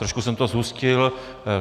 Trošku jsem to zhustil.